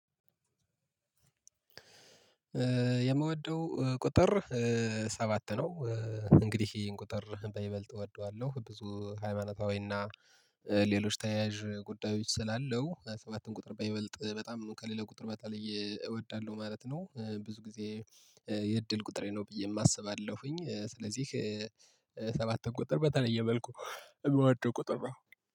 የምወደው ቁጥር ሰባት ነው። እንግዲህ ይህን ቁጥር በይበልጥ እወደዋለሁ። ብዙ ሃይማኖታዊ እና ሌሎች ተያያዥ ጉዳዮች ስላለው ሰባትን ቁጥር በይበልጥ በጣም ከሌላ ቁጥር በተለየ እወዳለሁ ማለት ነው። ብዙ ጊዜ የእድል ቁጥሬ ነው ብዬም አስባለሁኝ። ስለዚህ ሰባት ቁጥር በተለየ መልኩ የምወደው ቁጥር ነው።